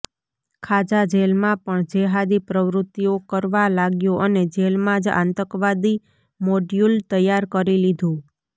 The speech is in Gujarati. ખાજા જેલમાં પણ જેહાદી પ્રવૃત્તિઓ કરવા લાગ્યો અને જેલમાં જ આતંકવાદી મોડ્યૂલ તૈયાર કરી લીધું